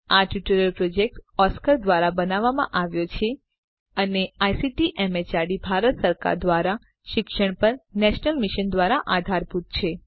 આ tutorial project Oscar ધ્વારા બનાવવામાં આવ્યો છે અને આઇસીટી એમએચઆરડી ભારત સરકાર દ્વારા શિક્ષણ પર નેશનલ મિશન દ્વારા આધારભૂત છે